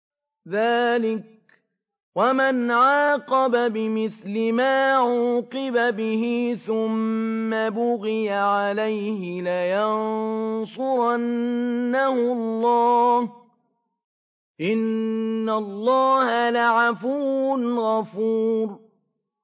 ۞ ذَٰلِكَ وَمَنْ عَاقَبَ بِمِثْلِ مَا عُوقِبَ بِهِ ثُمَّ بُغِيَ عَلَيْهِ لَيَنصُرَنَّهُ اللَّهُ ۗ إِنَّ اللَّهَ لَعَفُوٌّ غَفُورٌ